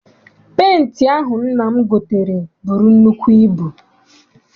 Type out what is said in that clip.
Penti ahụ nna m gotere buru nnukwu ibu.